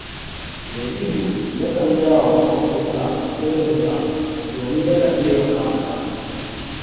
Yazidu yakan gaya wa maƙocinsa sirrinsa domin yakan taimaka masa